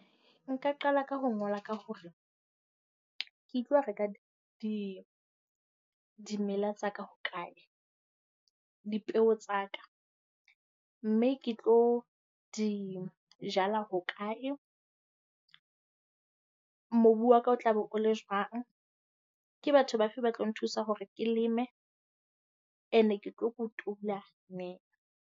Nka qala ka ho ngola ka hore ke tlo reka di dimela tsa ka ho kae, dipeo tsa ka, mme ke tlo di jala hokae. Mobu wa ka o tla be o le jwang. Ke batho ba fe ba tlo nthusa hore ke leme and-e ke tlo kotula neng.